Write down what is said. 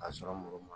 A sɔrɔ mɔgɔ ma